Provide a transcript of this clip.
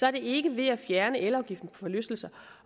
er det ikke ved at fjerne elafgiften forlystelser